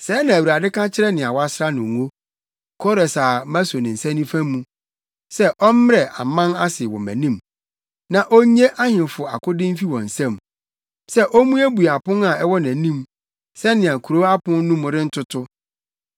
“Sɛɛ na Awurade ka kyerɛ nea wasra no ngo, Kores a maso ne nsa nifa mu sɛ ɔmmrɛ aman ase wɔ nʼanim na onnye ahemfo akode mfi wɔn nsam sɛ ommuebue apon a ɛwɔ nʼanim sɛnea kurow apon no mu rentoto.